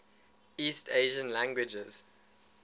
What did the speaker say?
east asian languages